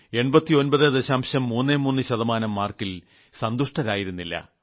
33 ശതമാനം മാർക്കിൽ സന്തുഷ്ടരായിരുന്നില്ല